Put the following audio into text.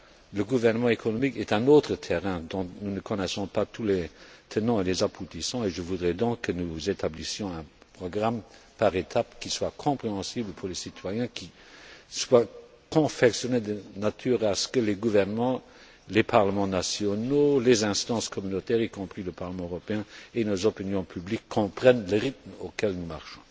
Le gouvernement économique est un autre terrain dont nous ne connaissons pas tous les tenants et tous les aboutissants, et je voudrais donc que nous établissions un programme par étape qui soit compréhensible pour les citoyens, qui soit confectionné de manière que les gouvernements, les parlements nationaux, les instances communautaires, y compris le Parlement européen et nos opinions publiques comprennent le rythme auquel nous marchons.